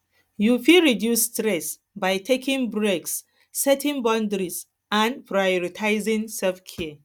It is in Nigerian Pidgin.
you fit reduce stress by taking breaks setting boundaries and and prioritizing selfcare